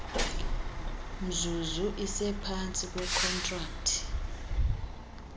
mzuzu isephantsi kwekhontrakthi